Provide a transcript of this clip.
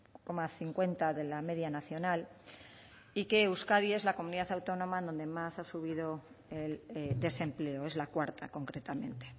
coma cincuenta de la media nacional y que euskadi es la comunidad autónoma donde más ha subido el desempleo es la cuarta concretamente